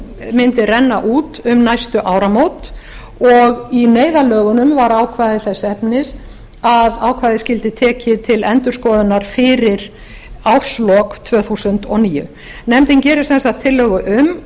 mundi renna út um næstu áramót og í neyðarlögunum var ákvæði þess efnis að ákvæðið skyldi tekið til endurskoðunar fyrir árslok tvö þúsund og níu nefndin gerir sem sagt tillögu um